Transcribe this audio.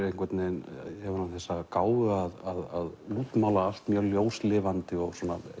einhvern veginn hefur hann þessa gáfu að útmála allt mjög ljóslifandi og